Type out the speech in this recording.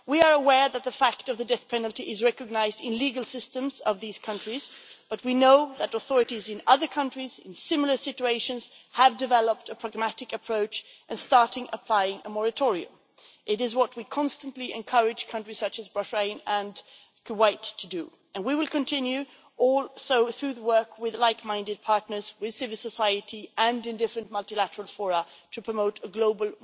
We are aware that the fact of the death penalty is recognised in the legal systems of these countries but we know that authorities in other countries in similar situations have developed a pragmatic approach and have started to apply a moratorium. That is what we constantly encourage countries such as Bahrain and Kuwait to do. We will continue also, through the work with like minded partners, with civil society and in various multilateral forums, to promote a global